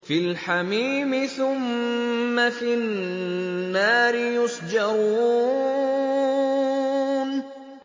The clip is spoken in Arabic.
فِي الْحَمِيمِ ثُمَّ فِي النَّارِ يُسْجَرُونَ